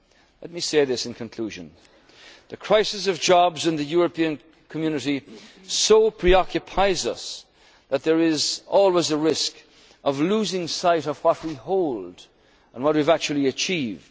during Ireland's term. Let me say this in conclusion, the crisis of jobs in the European community so preoccupies us that there is always a risk of losing sight of what we hold and what we have